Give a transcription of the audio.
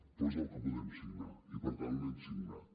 però és el que podem signar i per tant l’hem signat